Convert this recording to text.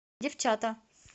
девчата